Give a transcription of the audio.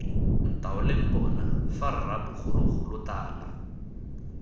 ntaoleng bona fa rra bogologolotala